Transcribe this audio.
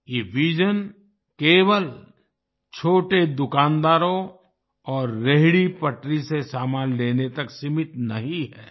ये विजन केवल छोटे दुकानदारों और रेहड़ीपटरी से सामान लेने तक सीमित नहीं है